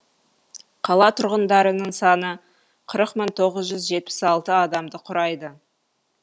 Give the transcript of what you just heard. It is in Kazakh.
қала тұрғындарының саны қырық мың тоғыз жүз жетпіс алты адамды құрайды